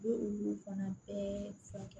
U bɛ olu fana bɛɛ furakɛ